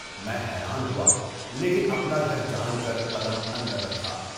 میں حیران ہوا لیکن اپنا گھر جان کر قدم اندر رکھا۔